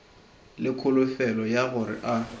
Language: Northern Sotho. le kholofelo ya gore a